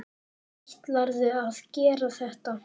Ætlarðu að gera þetta?